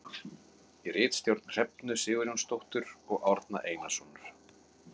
Í ritstjórn Hrefnu Sigurjónsdóttur og Árna Einarssonar.